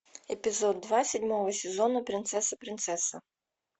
эпизод два седьмого сезона принцесса принцесса